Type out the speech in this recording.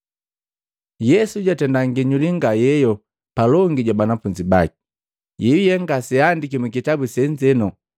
Yesu jatenda nginyuli nga yeyo mbeli ja banafunzi baki, yeyuye ngaseaandiki mukitabu senzeno.